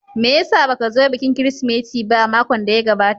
Me ya sa ba ka zo bikin Kirsimeti ba a makon da ya gabata?